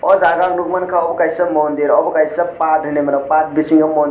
ahh jago o ang nugui manka obo kaisa mondir obo kaisa pad heneimano pad bisingo mondir.